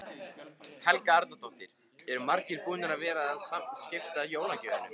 Helga Arnardóttir: Eru margir búnir að vera að skipta jólagjöfunum?